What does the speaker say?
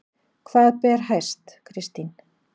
Hvað ber hæst Kristín?